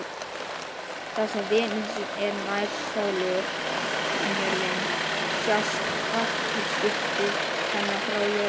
Þar sem Venus er nær sólu en jörðin sjást kvartilaskipti hennar frá jörðu.